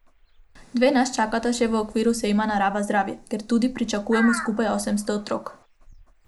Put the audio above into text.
Dve nas čakata še v okviru sejma Narava zdravje, kjer tudi pričakujemo skupaj osemsto otrok.